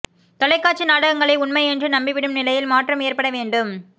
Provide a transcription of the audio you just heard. தொலைக்காட்சி நாடகங்களை உண்மை என்று நம்பிவிடும் நிலையில் மாற்றம் ஏற்பட வேண்டும்